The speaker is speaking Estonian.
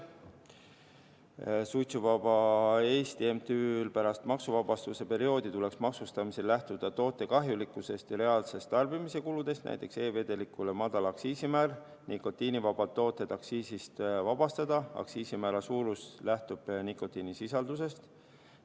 MTÜ NNA Suitsuvaba Eesti: pärast maksuvabastuse perioodi tuleks maksustamisel lähtuda toote kahjulikkusest ja reaalsetest tarbimise kuludest, näiteks kehtestada e-vedelikule madal aktsiisimäär, nikotiinivabad tooted aktsiisist vabastada, aktsiisimäära suurus võiks lähtuda nikotiinisisaldusest.